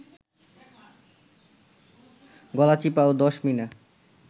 গলাচিপা ও দশমিনা